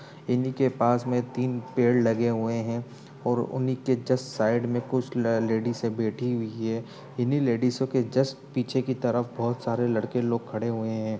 इन्ही के पास में तीन पेड़ लगे हुए हैं और उन्ही के जस्ट साइड मे कुछ ल- लेडीसे बैठी हुई हैं इन्हीं लेडिसो लेडीज़ो के जस्ट पीछे की तरफ बहुत सारे लड़के लोग खड़े हुए हैं।